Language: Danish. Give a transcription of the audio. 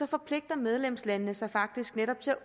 forpligter medlemslandene sig faktisk netop til